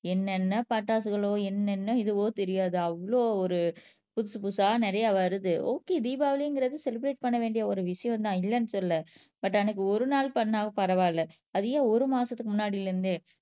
என்னென்ன பட்டாசுகளோ என்னென்ன இதுவோ தெரியாது அவ்ளோ ஒரு புதுசு புதுசா நிறைய வருது ஓகே தீபாவளிங்கிறது செலிபிரேட் பண்ண வேண்டிய ஒரு விஷயம்தான் இல்லைன்னு சொல்லல பட் அன்னைக்கு ஒரு நாள் பண்ணாலும் பரவாயில்லை அது ஏன் ஒரு மாசத்துக்கு முன்னாடில இருந்தே